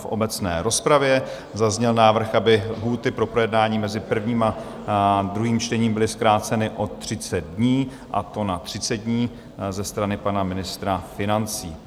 V obecné rozpravě zazněl návrh, aby lhůty pro projednání mezi prvním a druhým čtením byly zkráceny o 30 dní, a to na 30 dní, ze strany pana ministra financí.